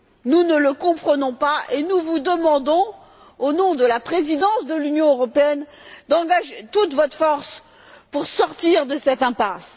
Nous ne le comprenons pas et vous demandons, au nom de la présidence de l'Union européenne, d'engager toute votre force pour sortir de cette impasse.